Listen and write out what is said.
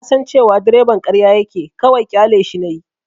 Na san cewa direban ƙarya yake, kawai ƙyaleshi nayi.